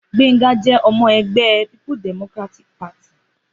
Gbénga jẹ́ ọmọ ẹgbẹ́ people democratic party.